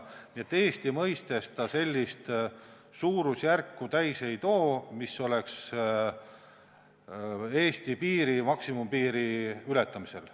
Nii et Eesti mõistes see sellist suurusjärku täis ei too, mis oleks Eesti maksimumpiiri ületamisel.